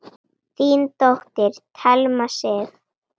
Þín dóttir, Thelma Sif.